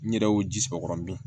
N yɛrɛ y'o ji sama o kɔrɔ dun